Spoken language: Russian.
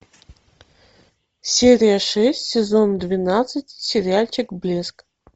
серия шесть сезон двенадцать сериальчик блеск